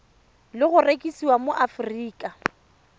le go rekisiwa mo aforika